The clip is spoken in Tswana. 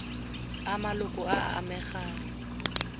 a maloko a a amegang